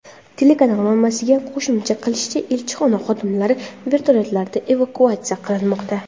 Telekanal manbasining qo‘shimcha qilishicha , elchixona xodimlari vertolyotlarda evakuatsiya qilinmoqda.